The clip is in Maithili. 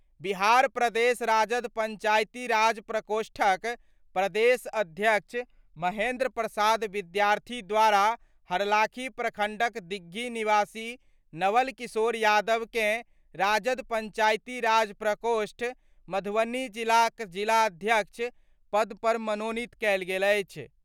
बिहार प्रदेश राजद पंचायती राज प्रकोष्ठक प्रदेश अध्यक्ष महेंद्र प्रसाद विद्यार्थी द्वारा हरलाखी प्रखंडक दिघिया निवासी नवल किशोर यादव कें राजद पंचायती राज प्रकोष्ठ, मधुबनीक जिलाध्यक्ष पद पर मनोनीत कएल गेल अछि।